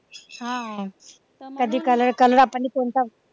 हा कधी color color आपण कोणता